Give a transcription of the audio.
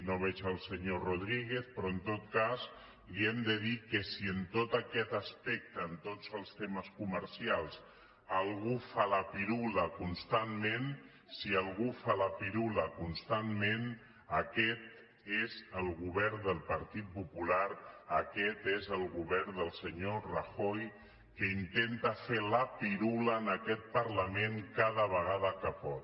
no veig el senyor rodríguez però en tot cas li hem de dir que si en tot aquest aspectes en tots els temes comercials algú fa la pirula constantment si algú fa la pirula constantment aquest és el govern del partit popular aquest és el govern del senyor rajoy que intenta fer la pirula a aquest parlament cada vegada que pot